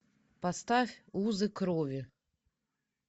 поставь узы крови